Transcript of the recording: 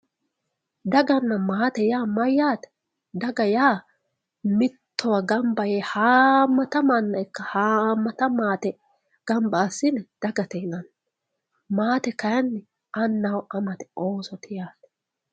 daganna maate yaa mayyaate daga yaa mittowa gamba yee haammata manna ikkana haammata maate gamba assine dagate yananni maate kayiinni annaho amate ooso yaate.